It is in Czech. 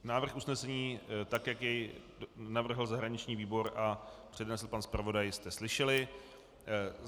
Návrh usnesení, tak jak jej navrhl zahraniční výbor a přednesl pan zpravodaj, jste slyšeli.